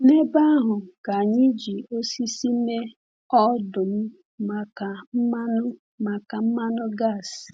N’ebe ahụ ka anyị ji osisi mee ọdụ̀m maka mmanụ maka mmanụ gas.